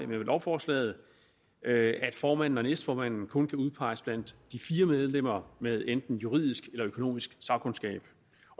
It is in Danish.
med lovforslaget at formanden og næstformanden kun kan udpeges blandt de fire medlemmer med enten juridisk eller økonomisk sagkundskab